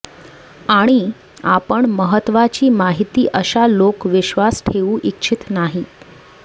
आणि आपण महत्वाची माहिती अशा लोक विश्वास ठेवू इच्छित नाही